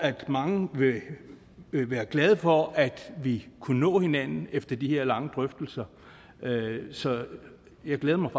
mange vil være glade for at vi kunne nå hinanden efter de her lange drøftelser så jeg glæder mig